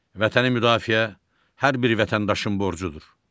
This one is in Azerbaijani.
Vətəni müdafiə hər bir vətəndaşın borcudur.